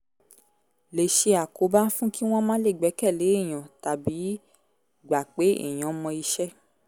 lè ṣe àkóbá fún kí wọ́n má le gbẹ́kẹ̀lé èèyàn tàbí gbà pé èèyàn mọ iṣẹ́